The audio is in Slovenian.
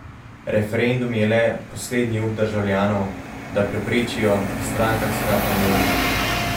Referendum je le poslednji up državljanov, da preprečijo strankarska enoumja.